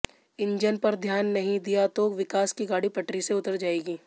engine पर ध्यान नहीं दिया तो विकास की गाड़ी पटरी से उतर जाएगी